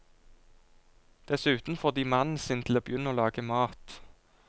Dessuten får de mannen sin til å begynne å lage mat.